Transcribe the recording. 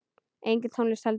Engin tónlist heldur.